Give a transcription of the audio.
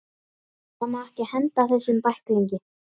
Það má ekki henda þessum bæklingi!